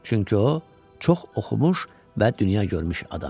Çünki o, çox oxumuş və dünya görmüş adam idi.